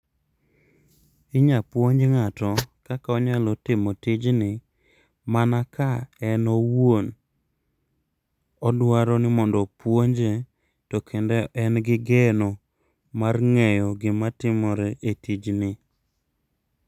Inya puonj ng'ato kaka onyalo timo tijni mana ka en owuon odwaro ni mondo opuonje, to kendo en gi geno mar ng'eyo gima timore e tijni.